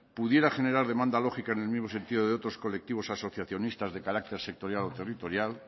pudiera generar demanda lógica en el mismo sentido de otros colectivos asociacionistas de carácter sectorial o territorial